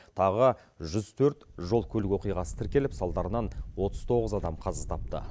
тағы жүз төрт жол көлік оқиғасы тіркеліп салдарынан отыз тоғыз адам қаза тапты